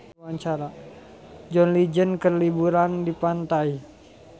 John Legend keur liburan di pantai